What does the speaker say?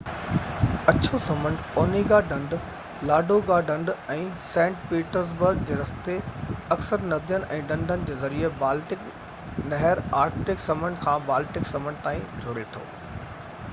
اڇو سمنڊ– اونيگا ڍنڍ، لاڊوگا ڍنڍ ۽ سينٽ پيٽرزبرگ جي رستي، اڪثر ندين ۽ ڍنڍن جي ذريعي بالٽڪ نهر آرڪٽڪ سمنڊ کي بالٽڪ سمنڊ سان جوڙي ٿي